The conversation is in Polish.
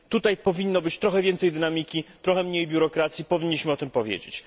Tutaj potrzeba trochę więcej dynamiki, trochę mniej biurokracji, powinniśmy o tym powiedzieć.